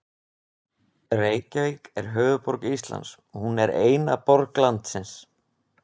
Reykjavík er höfuðborg Íslands. Hún er eina borg landsins.